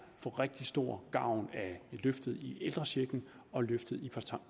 rigtig stor gavn af løftet i ældrechecken og løftet i